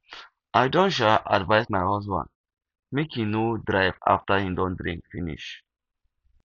i don um advice my husband make he no drive after he don drink finish